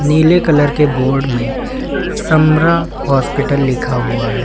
नीले कलर के बोर्ड में समरा हॉस्पिटल लिखा हुआ है।